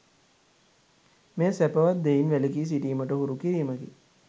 මෙය සැපවත් දෙයින් වැළකී සිටීමට හුරු කිරීමකි.